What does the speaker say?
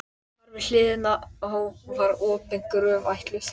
Þar við hliðina á var opin gröf ætluð